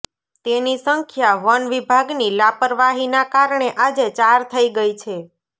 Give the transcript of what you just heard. તેની સંખ્યા વન વિભાગની લાપરવાહીના કારણે આજે ચાર થઈ ગઈ છે